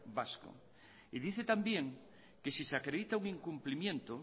vasco y dice también que si se acredita un incumplimiento